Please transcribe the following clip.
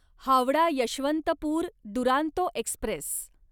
Howrah Yesvantpur Duronto Express